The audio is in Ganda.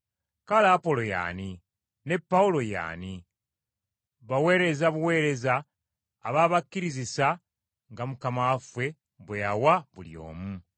Kale Apolo ye ani? Ne Pawulo ye ani? Baweereza buweereza ababakkirizisa, nga Mukama bwe yawa buli omu.